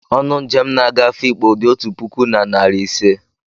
Ọnụ njem na-aga Afikpo dị otu puku na narị ise.